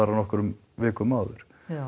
á nokkrum vikum áður